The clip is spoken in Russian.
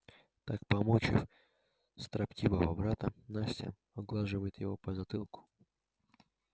так помучив строптивого брата настя оглаживает его по затылку